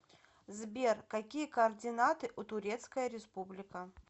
сбер какие координаты у турецкая республика